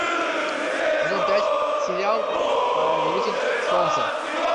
сезон пять сериал повелитель солнца